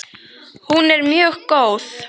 Hún er mjög góð!